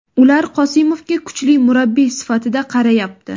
Ular Qosimovga kuchli murabbiy sifatida qarayapti.